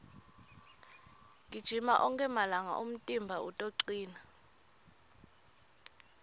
gijima onkhe malanga umtimba utocina